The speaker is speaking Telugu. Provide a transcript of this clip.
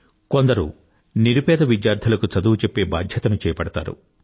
కొందరు నిరు పేద విద్యార్థులకు చదువు చెప్పే బాధ్యతను చేపడతారు